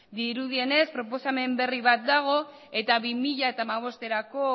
dirudienez proposamen berri bat dago eta bi mila hamabosterako